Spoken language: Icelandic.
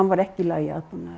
var ekki í lagi